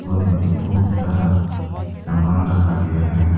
और यहां पे बहुत सारा सामान रखा गया है।